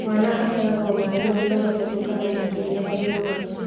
Mwana aheagwo maaĩ maita matatũ kana makĩria harĩ mũthenya